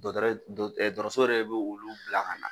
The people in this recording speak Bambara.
Dɔgɔtɔrɛ dɔ dɔgɔtɔrɔso yɛrɛ de bɛ olu bila ka na.